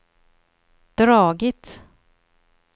dragit